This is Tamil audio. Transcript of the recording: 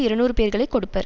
இருநூறு பேர்களைக் கொடுப்பர்